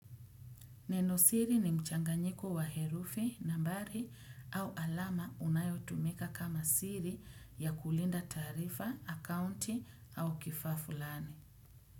Neno siri ni mchanganyiko wa herufi, nambari au alama unayotumika kama siri ya kulinda taarifa, akaunti au kifaafulani.